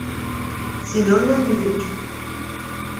семен леонидович